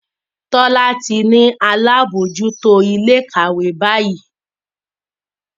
Tola tí ní àlabòjuto Ilé-ìkàwé bayi.